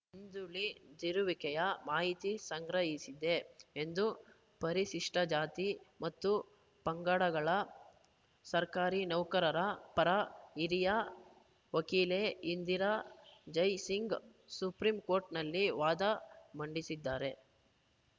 ಹಿಂದುಳಿದಿರುವಿಕೆಯ ಮಾಹಿತಿ ಸಂಗ್ರಹಿಸಿದೆ ಎಂದು ಪರಿಶಿಷ್ಟಜಾತಿ ಮತ್ತು ಪಂಗಡಗಳ ಸರ್ಕಾರಿ ನೌಕರರ ಪರ ಹಿರಿಯ ವಕೀಲೆ ಇಂದಿರಾ ಜೈ ಸಿಂಗ್‌ ಸುಪ್ರೀಂ ಕೋರ್ಟ್‌ನಲ್ಲಿ ವಾದ ಮಂಡಿಸಿದ್ದಾರೆ